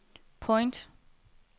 point